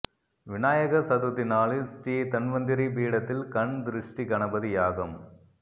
விநாயகர் சதுர்த்தி நாளில் ஸ்ரீ தன்வந்திரி பீடத்தில் கண் திருஷ்டி கணபதி யாகம்